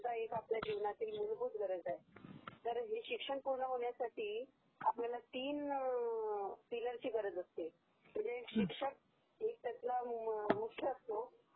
ही एक आपल्या जीवनातील मुलभूत गरज आहे, तर हे शिक्षण पूर्ण होण्यसाठी आपल्याला तीन पिलरची गरज असते, शिक्षक त्यातला मुख्य असतो